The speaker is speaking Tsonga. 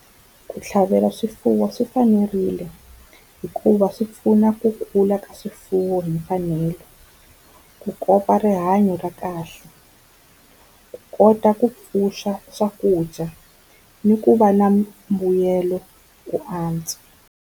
Ku tlhavela swifuwo swi fanerile hikuva swi pfuna ku kula ka swifuwo hi mfanelo, ku kopa rihanyo ra kahle, ku kota ku pfuxa swakudya ni ku va na mbuyelo ku antswa.